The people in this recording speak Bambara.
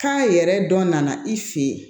Kan yɛrɛ dɔ nana i fɛ yen